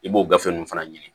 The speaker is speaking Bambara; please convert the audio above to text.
I b'o gafe ninnu fana ɲini